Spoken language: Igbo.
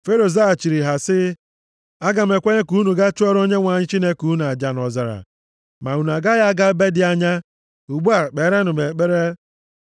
Fero zaghachiri ha sị, “Aga m ekwenye ka unu ga chụọrọ Onyenwe anyị Chineke unu aja nʼọzara, ma unu agaghị aga ebe dị anya. Ugbu a, kperenụ m ekpere.”